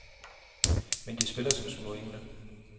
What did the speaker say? Men de spiller som små engle.